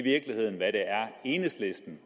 enhedslisten